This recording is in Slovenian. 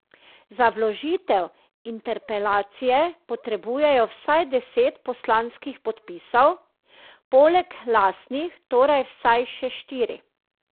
Za vložitev interpelacije potrebujejo vsaj deset poslanskih podpisov, poleg lastnih torej vsaj še štiri.